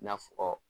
I n'a fɔ